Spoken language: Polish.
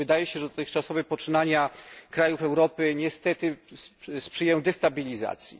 Otóż wydaje się, że dotychczasowe poczynania krajów Europy niestety sprzyjają destabilizacji.